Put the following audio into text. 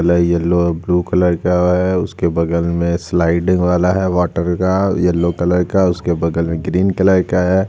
Colour yellow और blue colour का है उसके बगल में स्लाइडर वाला है वाटर का येलो कलर का उसके बगल में ग्रीन कलर का है।